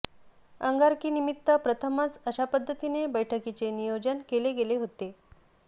अंगारकीनिमित्त प्रथमच अशा पध्दतीने बैठकीचे नियोजन केले गेले होते